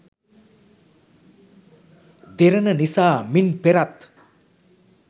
දෙරණ නිසා මින් පෙරත්